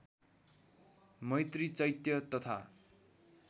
मैत्री चैत्य तथा